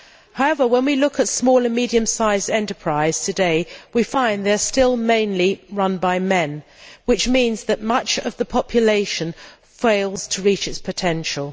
However, when we look at small and medium sized enterprises today, we find they are still mainly run by men, which means that much of the population fails to reach its potential.